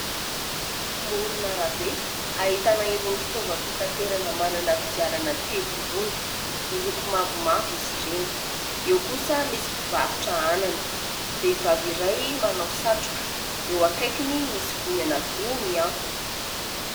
Amoron' arabe ahitana irony fitaovam-pitaterana manana kodiarana telo irony. Miloko mavomavo izy ireny. Eo kosa misy mpivarotra anana, vehivavy iray manao satroka eo akaikiny misy goany anankiroa mihantona.